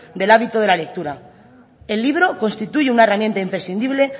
del hábito de la lectura el libro constituye una herramienta imprescindible